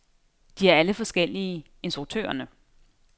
De er alle forskellige, instruktørerne.